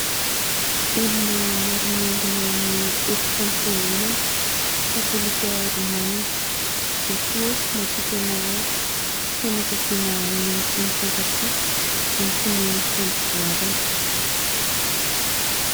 Olona maro miangona ao amin'ny efitrano fiangonana Katolika Rômana. Jesoa ô ! matoky anao aho. Fianakaviana mino sy mifankatia antoky ny fampivoarana.